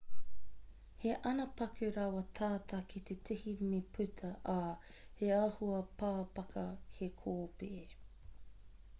he ana paku rawa tata ki te tihi me puta ā he āhua pāpaka he kōpē